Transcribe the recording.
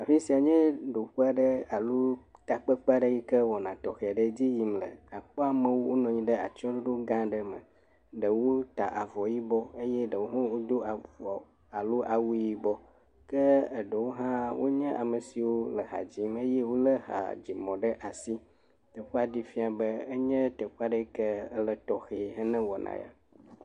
Afi sia nye ɖoƒe aɖe alo takpekpewɔƒe aɖe yike wɔna tɔxɛ aɖe le edzi yim le, àpɔ amewo wonɔ anyi ɖe atsyɔɖoɖo gã aɖe me, ɖewo ta avɔ yibɔ eye ɖewo hã wodo avɔ alo awu yibɔ ke eɖewo hã wonye ame siwo wole ha dzim eye wolé hadzinumɔ ɖe asi, teƒea ɖee fia be enye teƒe aɖe yike le tɔxee hena wɔna ya.